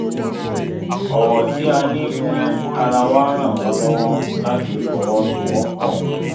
ọ̀wọ̀ tí a ní fún ara wa ràn wá lọwọ láti fọwọ́sowọpọ̀